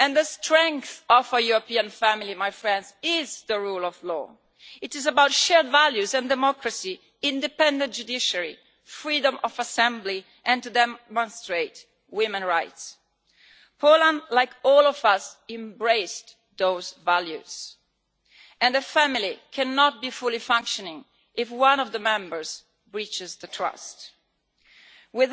The strength of our European family is the rule of law. It is about shared values and democracy, an independent judiciary, freedom of assembly and freedom to demonstrate, and women's rights. Poland, like all of us, embraced those values, and the family cannot be fully functioning if one of the Member States breaches the trust between us.